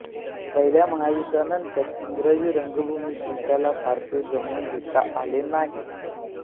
पहिल्या महायुद्धानंतरच्या इंग्रजी रंगभूमीशी त्याला फारसे जमवून घेता आले नाही